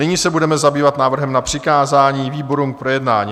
Nyní se budeme zabývat návrhem na přikázání výborům k projednání.